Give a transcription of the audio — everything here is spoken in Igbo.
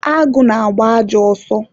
agụ na-agba ajọ ọsọ